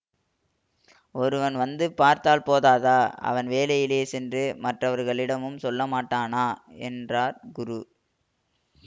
ஒருவன் வந்து பார்த்தால் போதாதா அவன் வௌயிலே சென்று மற்றவர்களிடமும் சொல்லமாட்டானா என்றார் குரு